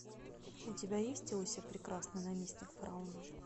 у тебя есть иосиф прекрасный наместник фараона